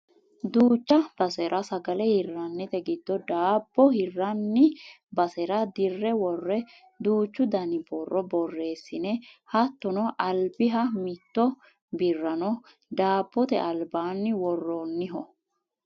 duucha basera sagale hirrannite giddo daabbo hirranni basera dirre worre duuchu dani borro borreessine hattono albiha mitto birrano daabbote albaanni worrooniho